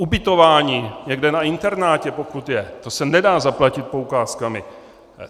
Ubytování někde na internátu, pokud je, to se nedá zaplatit poukázkami.